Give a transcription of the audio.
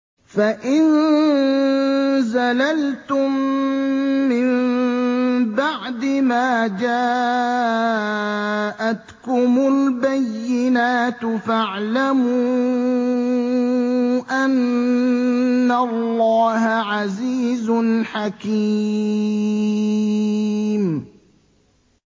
فَإِن زَلَلْتُم مِّن بَعْدِ مَا جَاءَتْكُمُ الْبَيِّنَاتُ فَاعْلَمُوا أَنَّ اللَّهَ عَزِيزٌ حَكِيمٌ